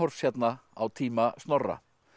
hérna á tíma Snorra